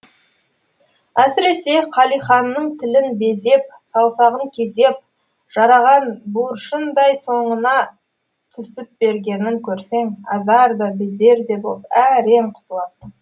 әсіресе қалиханның тілін безеп саусағын кезеп жараған буыршындай соңыңа түсіпбергенін көрсең азар да безер боп әрең құтыласың